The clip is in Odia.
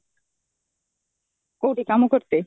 କଉଠି କାମ କରିତେ?